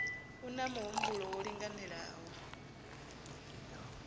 u na muhumbulo wo linganelaho